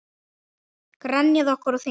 Grenjað okkur á þing?